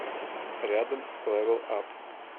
рядом лэвэл ап